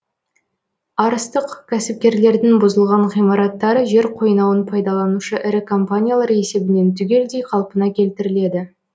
арыстық кәсіпкерлердің бұзылған ғимараттары жер қойнауын пайдаланушы ірі компаниялар есебінен түгелдей қалпына келтіріледі